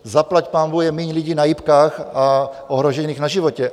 Zaplať pánbůh je míň lidí na jipkách a ohrožených na životě.